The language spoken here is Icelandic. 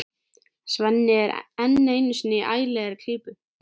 Svenni er enn einu sinni í ægilegri klípu.